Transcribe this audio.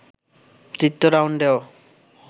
তৃতীয় রাউন্ডেও